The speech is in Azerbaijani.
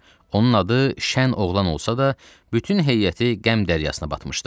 Onun adı Şən Oğlan olsa da, bütün heyəti qəm dəryasına batmışdı.